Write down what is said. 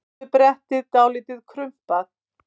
Afturbrettið dálítið krumpað.